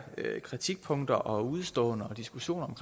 kritikpunkter og udeståender og diskussion om